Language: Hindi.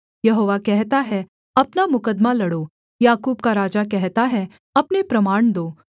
यहोवा कहता है अपना मुकद्दमा लड़ो याकूब का राजा कहता है अपने प्रमाण दो